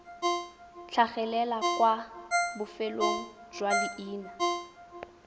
tlhagelela kwa bofelong jwa leina